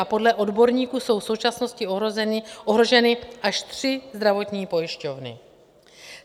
A podle odborníků jsou v současnosti ohroženy až tři zdravotní pojišťovny.